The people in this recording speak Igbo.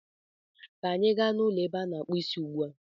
ka anyị gaa n'ụlọ ebe a na-akpụ Ịsị ugbu a!